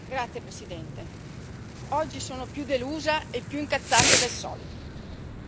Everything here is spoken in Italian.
Signor Presidente, onorevoli colleghi, oggi sono più delusa e più incazzata del solito.